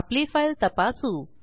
आपली फाईल तपासू